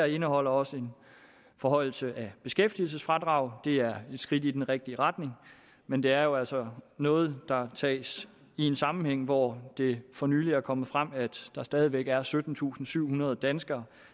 indeholder også en forhøjelse af beskæftigelsesfradraget og det er et skridt i den rigtige retning men det er jo altså noget der tages i en sammenhæng hvor det for nylig er kommet frem at der stadig væk er syttentusinde og syvhundrede danskere